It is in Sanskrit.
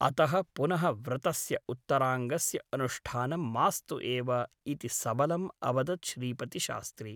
अतः पुनः व्रतस्य उत्तराङ्गस्य अनुष्ठानं मास्तु एव ' इति सबलम् अवदत् श्रीपतिशास्त्री ।